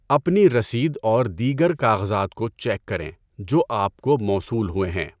اپنی رسید اور دیگر کاغذات کو چیک کریں جو آپ کو موصول ہوئے ہیں۔